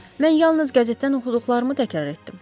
Mən yalnız qəzetdən oxuduqlarımı təkrar etdim.